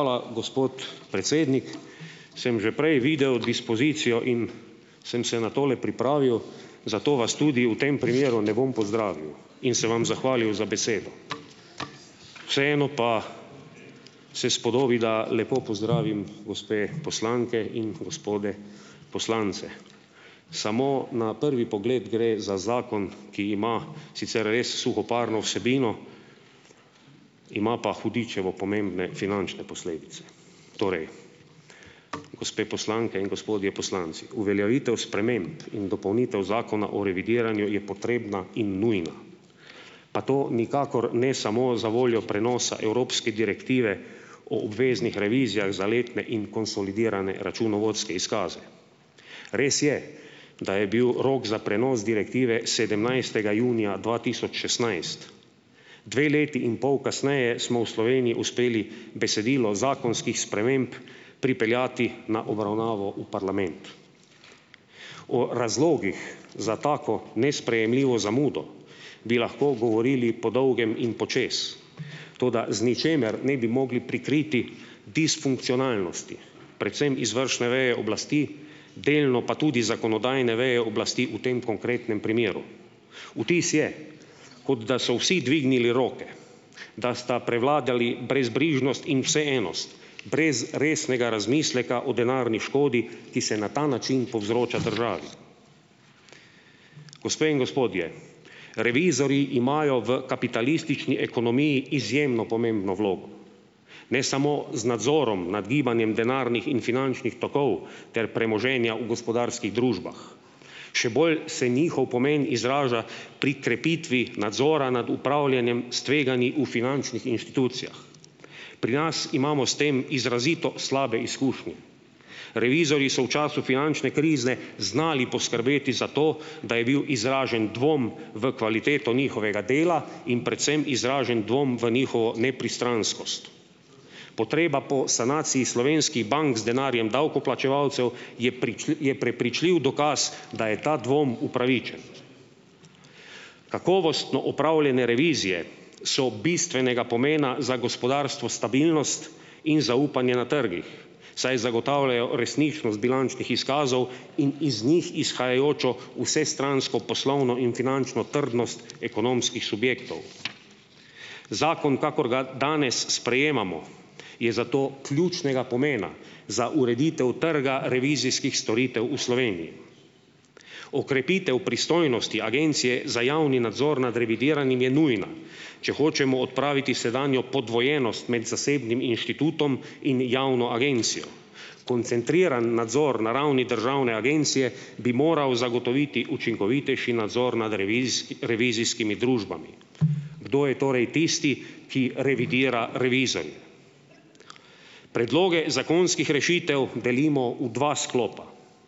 Hvala, gospod predsednik! Sem že prej videl dispozicijo in sem se na tole pripravil, zato vas tudi v tem primeru ne bom pozdravil in se vam zahvalil za besedo, vseeno pa se spodobi, da lepo pozdravim gospe poslanke in gospode poslance! Samo na prvi pogled gre za zakon, ki ima sicer res suhoparno vsebino, ima pa hudičevo pomembne finančne posledice. Torej, gospe poslanke in gospodje poslanci, uveljavitev sprememb in dopolnitev Zakona o revidiranju je potrebna in nujna. Pa to nikakor ne samo zavoljo prenosa evropske direktive o obveznih revizijah za letne in konsolidirane računovodske izkaze. Res je, da je bil rok za prenos direktive sedemnajstega junija dva tisoč šestnajst. Dve leti in pol kasneje smo v Sloveniji uspeli besedilo zakonskih sprememb pripeljati na obravnavo v parlament. O razlogih za tako nesprejemljivo zamudo bi lahko govorili po dolgem in počez, toda, z ničemer ne bi mogli prikriti disfunkcionalnosti, predvsem izvršne veje oblasti, delno pa tudi zakonodajne veje oblasti, v tem konkretnem primeru. Vtis je. kot da so vsi dvignili roke, da sta prevladali brezbrižnost in vseenost, brez resnega razmisleka o denarni škodi, ki se na ta način povzroča državi. Gospe in gospodje, revizorji imajo v kapitalistični ekonomiji izjemno pomembno vlogo. Ne samo z nadzorom nad gibanjem denarnih in finančnih tokov ter premoženja v gospodarskih družbah, še bolj se njihov pomen izraža pri krepitvi nadzora nad upravljanjem s tveganji v finančnih inštitucijah. Pri nas imamo s tem izrazito slabe izkušnje. Revizorji so v času finančne krize znali poskrbeti za to, da je bil izražen dvom v kvaliteto njihovega dela in predvsem izražen dvom v njihovo nepristranskost. Potreba po sanaciji slovenskih bank z denarjem davkoplačevalcev je je prepričljiv dokaz, da je ta dvom upravičen. Kakovostno opravljene revizije so bistvenega pomena za gospodarstvo stabilnost in zaupanje na trgih, saj zagotavljajo resničnost bilančnih izkazov in iz njih izhajajočo vsestransko poslovno in finančno trdnost ekonomskih subjektov. Zakon, kakor ga danes sprejemamo, je zato ključnega pomena za ureditev trga revizijskih storitev v Sloveniji. Okrepitev pristojnosti Agencije za javni nadzor nad revidiranim je nujna, če hočemo odpraviti sedanjo podvojenost med zasebnim inštitutom in javno agencijo. Koncentriran nadzor na ravni državne agencije bi moral zagotoviti učinkovitejši nadzor nad revizijski revizijskimi družbami. Kdo je torej tisti, ki revidira revizorje? Predloge zakonskih rešitev delimo v dva sklopa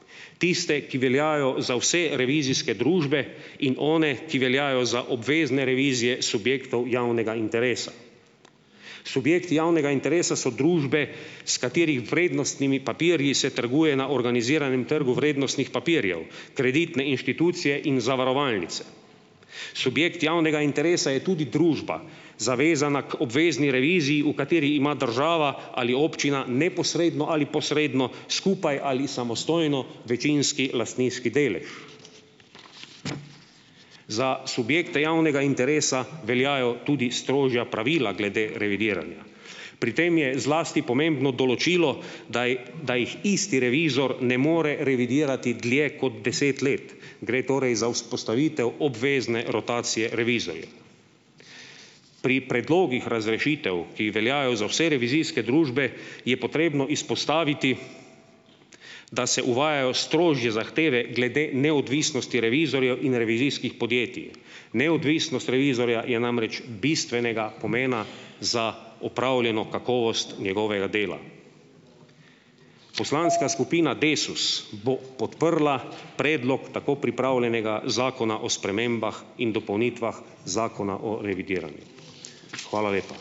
- tiste, ki veljajo za vse revizijske družbe, in one, ki veljajo za obvezne revizije subjektov javnega interesa. Subjekti javnega interesa so družbe, s katerih vrednostnimi papirji se trguje na organiziranem trgu vrednostnih papirjev - kreditne inštitucije in zavarovalnice. Subjekt javnega interesa je tudi družba, zavezana k obvezni reviziji, v kateri ima država ali občina neposredno ali posredno skupaj ali samostojno večinski lastninski delež. Za subjekte javnega interesa veljajo tudi strožja pravila glede revidiranja. Pri tem je zlasti pomembno določilo, daji da jih isti revizor ne more revidirati dlje kot deset let, gre torej za vzpostavitev obvezne rotacije revizorjev. Pri predlogih razrešitev, ki veljajo za vse revizijske družbe, je potrebno izpostaviti, da se uvajajo strožje zahteve glede neodvisnosti revizorjev in revizijskih podjetij. Neodvisnost revizorja je namreč bistvenega pomena za opravljeno kakovost njegovega dela. Poslanska skupina Desus bo podprla predlog tako pripravljenega zakona o spremembah in dopolnitvah Zakona o revidiranju. Hvala lepa.